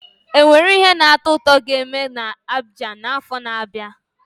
Ọ nwere ihe na-atọ ụtọ ga-eme na Abidjan n'afọ na-abịa?